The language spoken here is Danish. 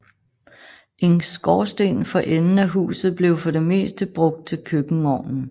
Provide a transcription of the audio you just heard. En skorsten for enden af huset blev for det meste brugt til køkkenovnen